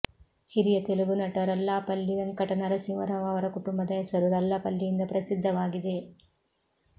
ಹಿರಿಯ ತೆಲುಗು ನಟ ರಲ್ಲಾಪಲ್ಲಿ ವೆಂಕಟ ನರಸಿಂಹ ರಾವ್ ಅವರ ಕುಟುಂಬದ ಹೆಸರು ರಲ್ಲಪಲ್ಲಿಯಿಂದ ಪ್ರಸಿದ್ಧವಾಗಿದೆ